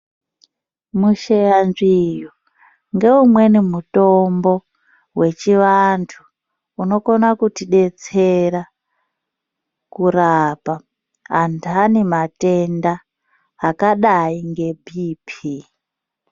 Musheyanzviru ngeumweni mutombo wechivantu, unokona kutidetsera kurapa antani matenda akadayi ngebhiphii.